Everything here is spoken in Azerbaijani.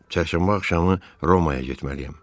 Çərşənbə axşamı Romaya getməliyəm.